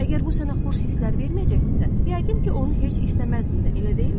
Əgər bu sənə xoş hisslər verməyəcəkdirsə, yəqin ki, onu heç istəməzdin də, elə deyilmi?